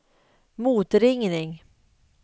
motringning